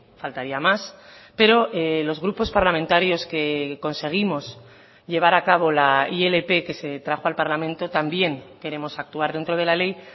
faltaría más pero los grupos parlamentarios que conseguimos llevar a cabo la ilp que se trajo al parlamento también queremos actuar dentro de la ley